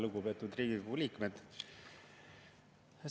Lugupeetud Riigikogu liikmed!